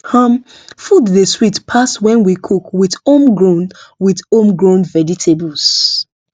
um food dey sweet pass when we cook with homegrown with homegrown vegetables